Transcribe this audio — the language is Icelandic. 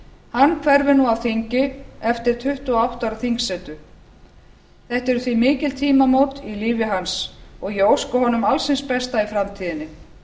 hann hverfur nú af þingi eftir tuttugu og átta ára þingsetu þetta eru því mikil tímamót í lífi hans og ég óska honum alls hins besta í framtíðinni